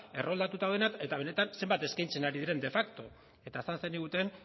erroldatuta daudenak eta benetan zenbat eskaintzen ari diren de facto eta esan zeniguten